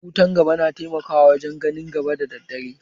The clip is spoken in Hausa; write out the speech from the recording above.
Wutan gaba na taimakawa wajen gani da dare